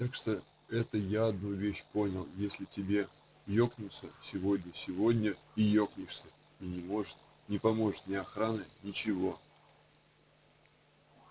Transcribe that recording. так что это я одну вещь понял если тебе екнуться сегодня сегодня и екнешься и не поможет ни охрана ничего